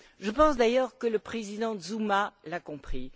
Je pense d'ailleurs que le président Zuma l'a compris.